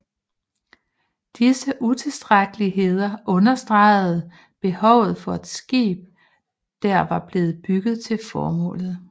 Disse utilstrækkeligheder understegede behovet for et skib der var blevet bygget til formålet